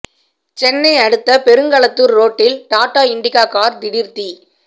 சென்னை அடுத்த பெருங்களத்தூர் ரோட்டில் டாட்டா இண்டிகா கார் திடீர் தீ